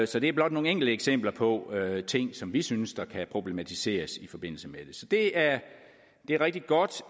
så det er blot nogle enkelte eksempler på ting som vi synes kan problematiseres i forbindelse med det så det er rigtig godt